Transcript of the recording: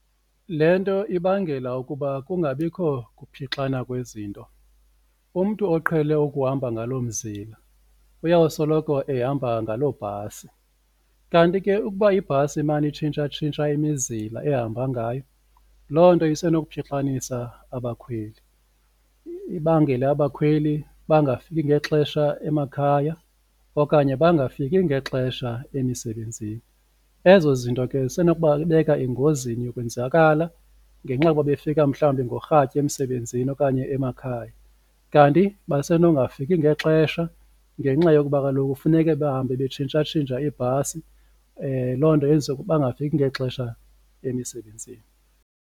Le nto ibangela ukuba kungabikho kuphixana kwezinto umntu oqhele ukuhamba ngaloo mzila uyawusoloko ehamba ngalo bhasi, kanti ke ukuba ibhasi imane itshintsha-tshintsha imizila ehamba ngayo loo nto isenokutshixanisa abakhweli. Ibangele abakhweli bangafiki ngexesha emakhaya okanye bangafiki ngexesha emisebenzini. Ezo zinto ke zisenokubabeka engozini yokwenzakala ngenxa yokuba befika mhlawumbi ngorhatya emisebenzini okanye emakhaya. Kanti basenokungafiki ngexesha ngenxa yokuba kaloku kufuneke bahambe betshintsha tshintsha ibhasi loo nto yenza ukuba bangafiki ngexesha emisebenzini.